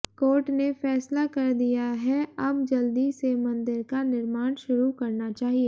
court ने फैसला कर दिया है अब जल्दी से मंदिर का निर्माण शुरू करना चाहिए